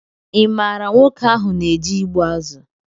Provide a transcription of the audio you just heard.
Ị maara nwoke ahụ na-eje ịgbụ azụ